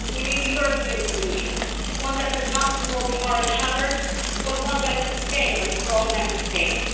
we need a European solution one that does not promote moral hazard but one that is sustainable for all Member States.